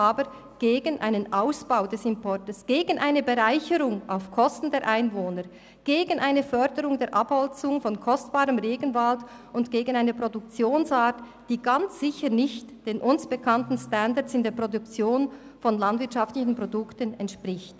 Aber wir sind gegen einen Ausbau des Importes, gegen eine Bereicherung auf Kosten der Einwohner, gegen eine Förderung der Abholzung von kostbarem Regenwald und gegen eine Produktionsart, die ganz sicher nicht den uns bekannten Standards in der Produktion von landwirtschaftlichen Produkten entspricht.